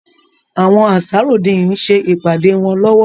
Àwọn Ansarudeen ń ṣe ìpàdé wọn lowo.